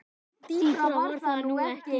Dýpra var það nú ekki.